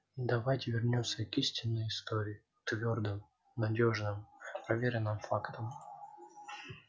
давайте вернёмся к истинной истории к твёрдым надёжным проверенным фактам